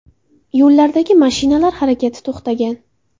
Yo‘llardagi mashinalar harakati to‘xtagan.